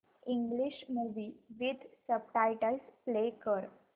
English movie with subtitles play कर